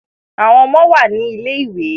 àwọn ọmọ wá ní Ilé-ìwé